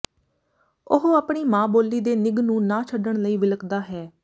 ਉਹ ਆਪਣੀ ਮਾਂ ਬੋਲੀ ਦੇ ਨਿੱਘ ਨੂੰ ਨਾ ਛੱਡਣ ਲਈ ਵਿਲਕਦਾ ਹੈ